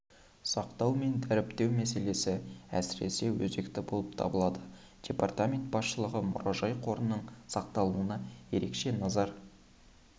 сақтау мен дәріптеу мәселесі әсіресе өзекті болып табылады департамент басшылығы мұражай қорының сақталуына ерекше назар